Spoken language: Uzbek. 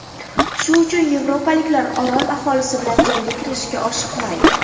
Shu uchun yevropaliklar orol aholisi bilan jangga kirishga oshiqmaydi.